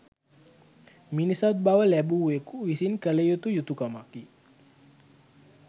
මිනිසත් බව ලැබූවෙක් විසින් කළ යුතු යුතුකමකි.